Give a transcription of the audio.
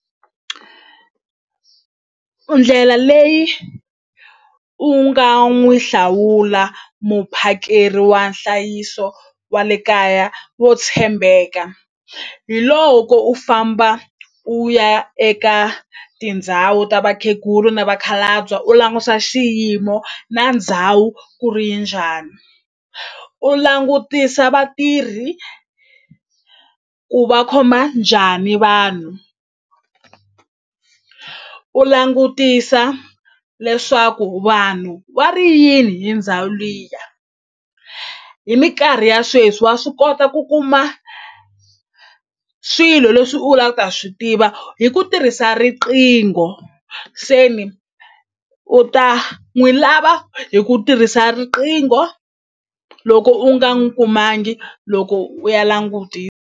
Ndlela leyi u nga n'wi hlawula muphakeri wa nhlayiso wa le kaya wo tshembeka hi loko u famba u ya eka tindhawu ta vakhegulu na vakhalabya u langutisa xiyimo na ndhawu ku ri yi njhani u langutisa vatirhi ku va khoma njhani vanhu u langutisa leswaku vanhu va ri yini hi ndhawu liya hi mikarhi ya sweswi wa swi kota ku kuma swilo leswi u la ta swi tiva hi ku tirhisa riqingho se ni u ta n'wi lava hi ku tirhisa riqingho loko u nga n'wi kumangi loko u ya .